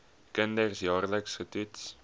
kinders jaarliks getoets